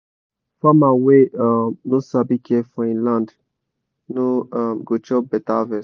farmer wey um no sabi care for him land no um go chop better harvest.